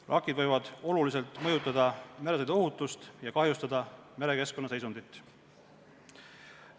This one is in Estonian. Vrakid võivad oluliselt mõjutada meresõiduohutust ja kahjustada merekeskkonna seisundit.